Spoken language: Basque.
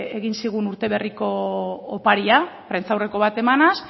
egin zigun urteberriko oparia prentsaurreko bat emanaz